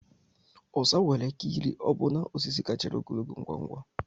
Osa nwere ike ịrị ọbụna osisi kacha ogologo ngwa ngwa.